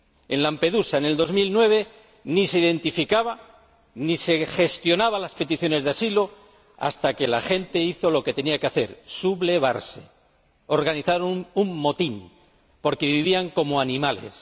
En Lampedusa, en 2009, ni se identificaba a las personas ni se gestionaban las peticiones de asilo hasta que la gente hizo lo que tenía que hacer sublevarse, organizar un motín, porque vivían como animales.